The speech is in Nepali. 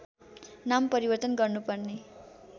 नाम परिवर्तन गर्नुपर्ने